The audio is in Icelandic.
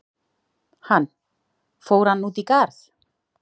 Hann: Fór hann út í garð?